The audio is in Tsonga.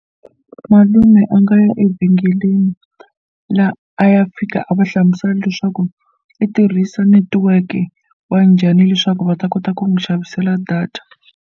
Malume a nga ya evhengeleni la a ya fika a va hlamusela leswaku i tirhisa netiweke wa njhani leswaku va ta kota ku n'wi xavisela data.